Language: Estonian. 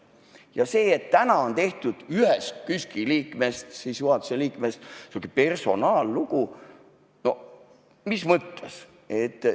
Ja see, et täna on tehtud ühest KÜSK-i liikmest, juhatuse liikmest, sihuke personaallugu – noh, mis mõttes?